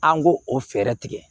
An k'o o fɛɛrɛ tigɛ